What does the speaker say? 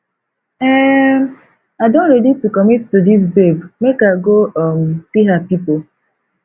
um i don ready to commit to dis babe make i go um see her pipo